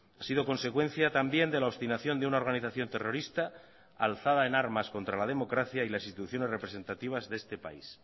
ha sido consecuencia también de la obstinación de una organización terrorista alzada en armas contra la democracia y las instituciones representativas de este país